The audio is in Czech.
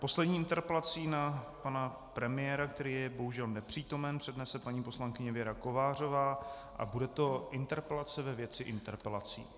Poslední interpelaci na pana premiéra, který je bohužel nepřítomen, přednese paní poslankyně Věra Kovářová a bude to interpelace ve věci interpelací.